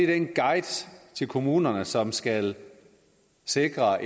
den guide til kommunerne som skal sikre